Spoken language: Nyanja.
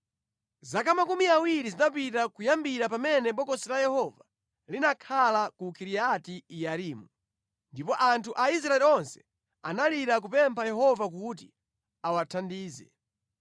Zaka makumi awiri zinapita kuyambira pamene Bokosi la Yehova linakhala ku Kiriati-Yearimu, ndipo anthu a Israeli onse analira kupempha Yehova kuti awathandize.